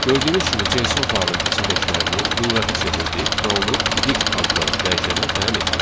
Gördüyünüz kimi JSON faylın içindəkilərini lüğətə çevirdik və onu dic adlı dəyişənə təyin etdik.